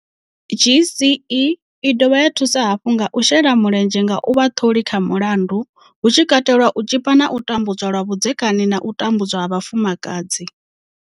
GCE i dovha ya thusa hafhu nga shela mulenzhe nga u vha ṱholi kha mulandu, hu tshi katelwa u tshipa na u tambudza lwa vhudzekani na u tambudzwa ha vhafumakadzi.